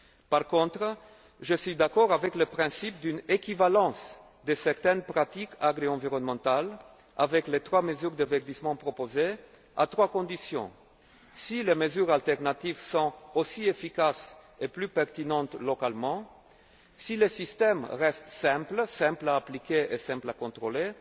Par contre, je suis d'accord avec le principe d'une équivalence entre certaines pratiques agroenvironnementales et les trois mesures de verdissement proposées sous trois conditions si les mesures alternatives sont aussi efficaces et plus pertinentes localement, si le système reste simple à appliquer et simple à